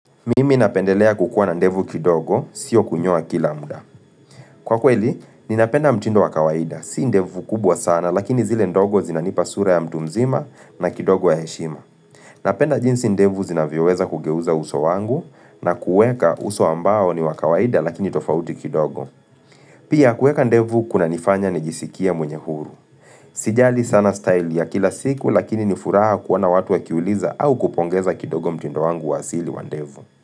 Mimi napendelea kukuwa na ndevu kidogo sio kunyoa kila muda Kwa kweli ninapenda mtindo wa kawaida si ndevu kubwa sana lakini zile ndogo zinanipa sura ya mtu mzima na kidogo ya heshima Napenda jinsi ndevu zinavyoweza kugeuza uso wangu na kueka uso ambao ni wa kawaida lakini tofauti kidogo. Pia kuweka ndevu kunanifanya nijisikia mwenye huru Sijali sana style ya kila siku lakini ni furaha kuwa na watu wakiuliza au kupongeza kidogo mtindo wangu wa asili wa ndevu.